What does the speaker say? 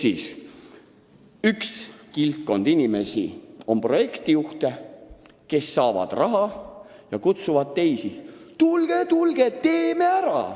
On üks kildkond projektijuhte, kes saavad raha ja kutsuvad teisi üles: tulge-tulge, teeme ära!